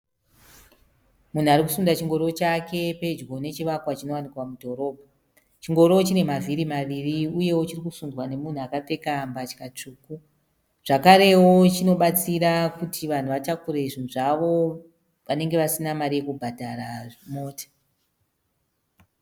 Munhu arikusunda chingoro chake pedyo nechivakwa chinowanikwa mudhorobha. Chingoro chine mavhiri maviri uye chirikusundwa nemunhu akapfeka zvitsvuku. zvakarewo chinobatsira kuti vanhu vatakure zvinhu zvavo vanenge vasina mari yekubhadzhara mota